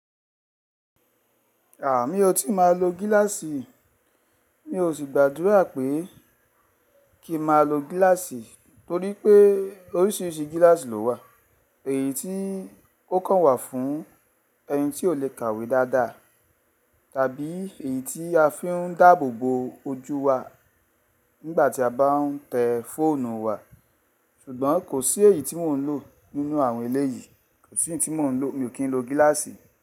Mí ò tí ì máa lo gíláàsì. Mi ò sì gbàdúrà pé kí ma lo gíláàsì torí pé oríṣìíríṣìí gíláàsì lówà. Èyí tí ó kàn wà fún ẹni tí ò lè kàwé dáadáa tàbí èyí tí a fi ń dáàbò bo ojú wa nígbà tí a bá ń tẹ fóònù wa. Sugbon kò sí èyí tí mò ń lò nínú àwọn eléyìí, kò sí èyí tí mò ń lò. Mi ò kí ń lo gíláàsì.